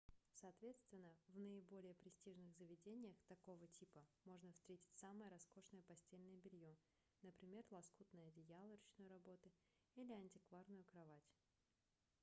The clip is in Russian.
соответственно в наиболее престижных заведениях такого типа можно встретить самое роскошное постельное белье например лоскутные одеяла ручной работы или антикварную кровать